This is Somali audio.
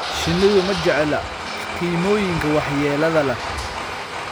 Shinnidu ma jecla kiimikooyinka waxyeelada leh.